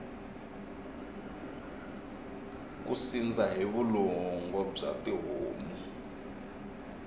ku sindza hi vulongo bya tihomu